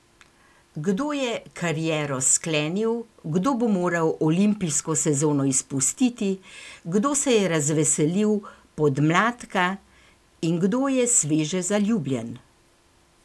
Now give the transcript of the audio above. Kdo je kariero sklenil, kdo bo moral olimpijsko sezono izpustiti, kdo se je razveselil podmladka in kdo je sveže zaljubljen?